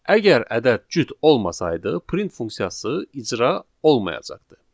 Əgər ədəd cüt olmasaydı, print funksiyası icra olmayacaqdı.